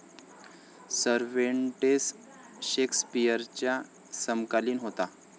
Cervantes शेक्सपिअरचा समकालिन होता.